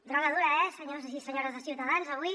droga dura eh senyors i senyores de ciutadans avui